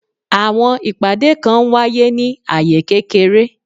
Àwọn ìpàdé kan n wáyé ní aye kékeré